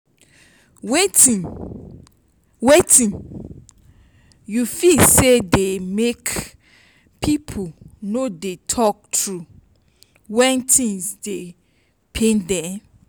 wetin wetin you feel say dey make people no dey talk true when things dey pain dem?